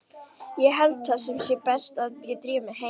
Ég held það sé best að ég drífi mig heim.